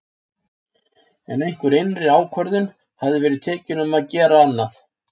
En einhver innri ákvörðun hafði verið tekin um að gera annað.